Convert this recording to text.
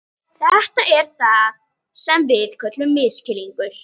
Þetta er það sem við köllum misskilning.